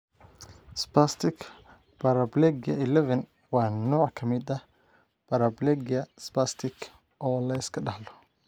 Spastic paraplegia 11 waa nooc ka mid ah paraplegia spastic oo la iska dhaxlo.